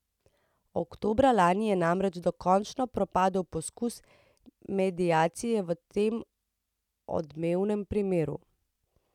Oktobra lani je namreč dokončno propadel poskus mediacije v tem odmevnem primeru.